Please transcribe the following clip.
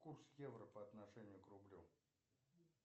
курс евро по отношению к рублю